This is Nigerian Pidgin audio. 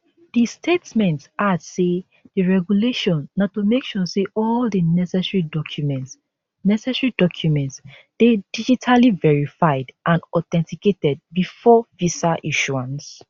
di statement add say di regulation na to make sure say all di necessary documents necessary documents dey digitally verified and authenticated before visa issuance